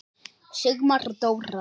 Sigmar og Dóra.